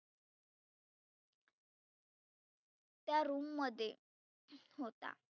त्या room मध्ये होता.